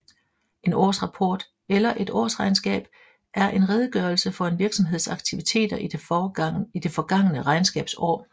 En årsrapport eller et årsregnskab er en redegørelse for en virksomheds aktiviteter i det forgangne regnskabsår